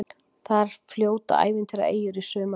Þar fljóta ævintýraeyjur í sumarskrúða.